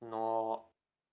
но